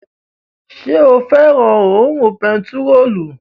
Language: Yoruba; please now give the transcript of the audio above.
Ṣé o fẹ́ràn òórùn bentiróòlù?